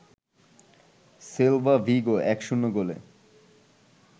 Celta Vigo ১-০ গোলে